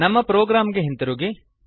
ನಮ್ಮ ಪ್ರೊಗ್ರಾಮ್ ಗೆ ಹಿಂತಿರುಗಿ